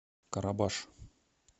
карабаш